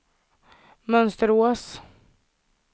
Mönsterås